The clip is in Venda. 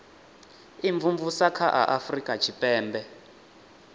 imvumvusa kha a afurika tshipembe